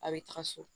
A' bɛ taga so